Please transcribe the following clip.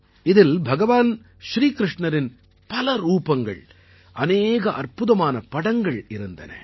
இதில் பகவான் ஸ்ரீகிருஷ்ணரின் பலரூபங்கள் அநேக அற்புதமான படங்கள் இருந்தன